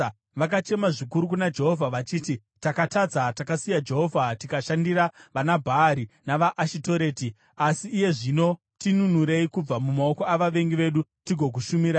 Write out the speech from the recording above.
Vakachema zvikuru kuna Jehovha vachiti, ‘Takatadza; takasiya Jehovha tikashandira vanaBhaari navaAshitoreti. Asi iye zvino tinunurei kubva mumaoko avavengi vedu, tigokushumirai.’